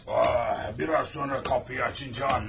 Ah, biraz sonra qapıyı açınca anlarız.